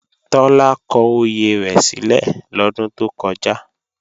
Tọ́lá kọ oyè rẹ̀ sílẹ̀ lọ́dún tó kọjá